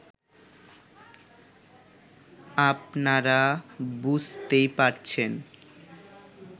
আপনারা বুঝতেই পারছেন